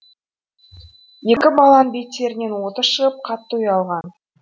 екі баланың беттерінен оты шығып қатты ұялған